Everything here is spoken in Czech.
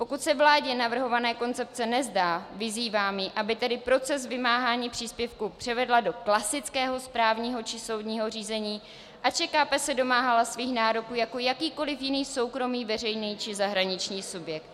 Pokud se vládě navrhovaná koncepce nezdá, vyzývám ji, aby tedy proces vymáhání příspěvků převedla do klasického správního či soudního řízení a ČKP se domáhala svých nároků jako jakýkoliv jiný soukromý, veřejný či zahraniční subjekt.